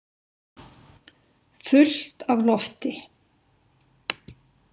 Fullt af lofti.